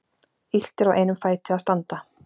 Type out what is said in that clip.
Illt er á einum fæti að standa.